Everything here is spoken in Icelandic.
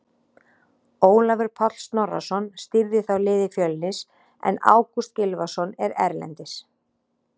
Ólafur Páll Snorrason stýrði þá liði Fjölnis en Ágúst Gylfason er erlendis.